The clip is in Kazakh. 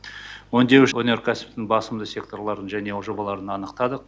өңдеуші өнеркәсіптің басымды секторларын және жобаларын анықтадық